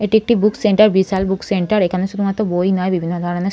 এটি একটি book centre বিশাল বুক সেন্টার এখানে শুধুমাত্র বই নয় বিভিন্ন ধরণের--